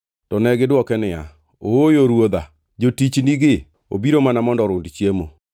To negidwoke niya, “Ooyo ruodha. Jotichgi obiro mana mondo orund chiemo.